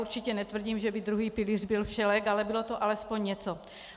Určitě netvrdím, že byl druhý pilíř byl všelék, ale bylo to alespoň něco.